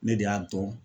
Ne de y'a dɔn